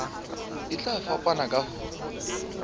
e tla fapana ka ho